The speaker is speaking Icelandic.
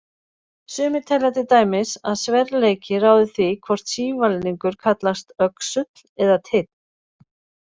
Sumir telja til dæmis að sverleiki ráði því hvort sívalningur kallast öxull eða teinn.